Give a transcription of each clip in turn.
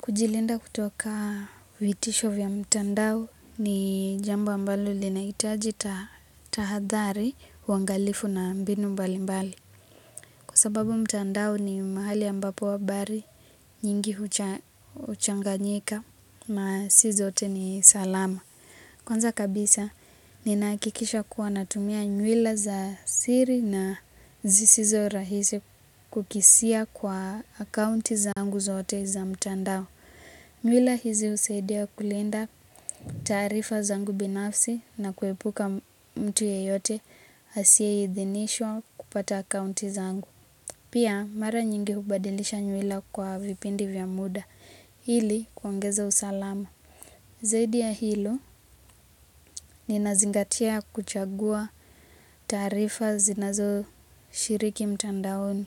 Kujilinda kutoka vitisho vya mtandao ni jambo ambalo linahitaji tahadhari, uangalifu na mbinu mbali mbali. Kwa sababu mtandao ni mahali ambapo habari nyingi huchanganyika na si zote ni salama. Kwanza kabisa nina hakikisha kuwa natumia nywila za siri na zisizo rahisi kukisia kwa akaunti zangu zote za mtandao. Ywila hizi husaidia kulinda taarifa zangu binafsi na kuepuka mtu yeyote asiye idhinishwa kupata akaunti zangu. Pia mara nyingi hubadilisha ywila kwa vipindi vya muda hili kuongeza usalama. Zaidi ya hilo ninazingatia kuchagua taarifa zinazo shiriki mtandaoni.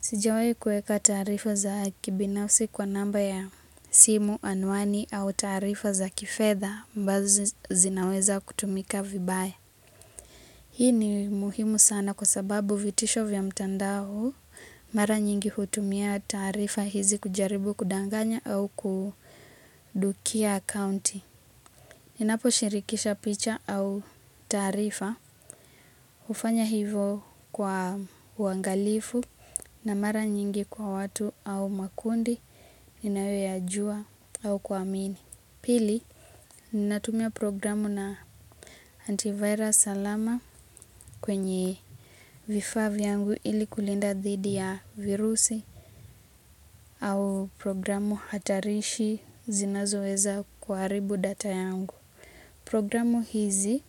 Sijawai kueka tarifa za kibinafsi kwa namba ya simu, anwani au tarifa za kifedha ambazo zinaweza kutumika vibaya. Hii ni muhimu sana kwa sababu vitisho vya mtandao mara nyingi hutumia taarifa hizi kujaribu kudanganya au kudukia akaunti. Ninaposhirikisha picha au taarifa, hufanya hivo kwa uangalifu na mara nyingi kwa watu au makundi inayoyajua au kuamini. Pili, ninatumia programu na antivirus alama kwenye vifaa vyangu ili kulinda dhidi ya virusi au programu hatarishi zinazoweza kuharibu data yangu. Programu hizi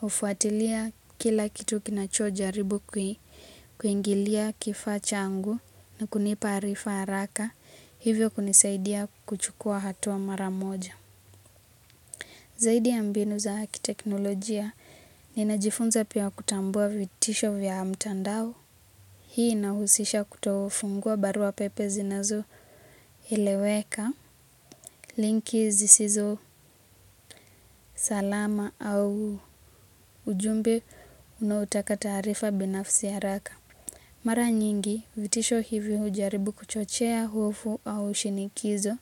hufuatilia kila kitu kinachojaribu, kuingilia kifacha changu na kunipa arifa haraka hivyo kunisaidia kuchukua hatua mara moja. Zaidi ya mbinu za kiteknolojia, ninajifunza pia kutambua vitisho vya mtandao. Hii inahusisha kutofungua barua pepe zinazo eleweka linki zisizo salamu au ujumbe unaotaka taarifa binafsi haraka. Mara nyingi vitisho hivi hujaribu kuchochea hofu au shinikizo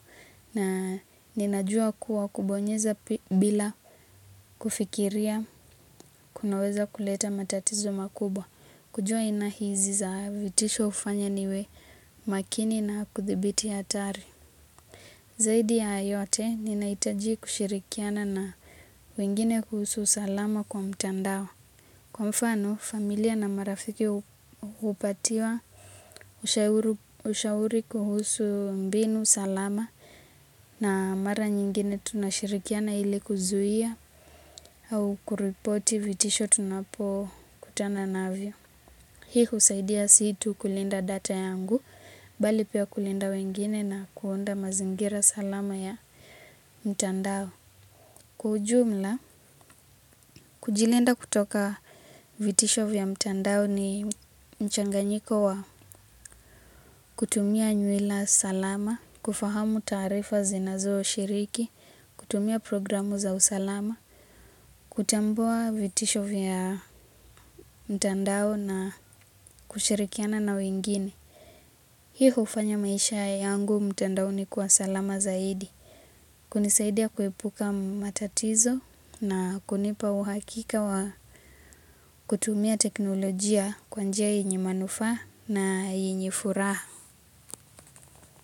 na ninajua kuwa kubonyeza bila kufikiria kunaweza kuleta matatizo makubwa. Kujua aina hizi za vitisho hufanya niwe makini na kudhibiti hatari. Zaidi ya haya yote, ninahitaji kushirikiana na wengine kuhusu salama kwa mtandao. Kwa mfano, familia na marafiki hupatiwa ushauri kuhusu mbinu salama na mara nyingine tunashirikiana ili kuzuia au kuripoti vitisho tunapokutana navyo. Hii husaidia si tu kulinda data yangu, bali pia kulinda wengine na kuunda mazingira salama ya mtandao. Kwa ujumla, kujilinda kutoka vitisho vya mtandao ni mchanganyiko wa kutumia nywila salama, kufahamu taarifa zinazoshiriki, kutumia programu za usalama, kutambua vitisho vya mtandao na kushirikiana na wengine. Hii hufanya maisha yangu mtandaoni kuwa salama zaidi. Kunisaidia kuepuka matatizo na kunipa uhakika wa kutumia teknolojia kwa njia yenye manufaa na yenye furaha.